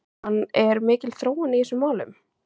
Jóhann, er mikil þróun í þessum málum?